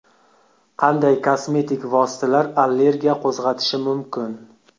Qanday kosmetik vositalar allergiya qo‘zg‘atishi mumkin?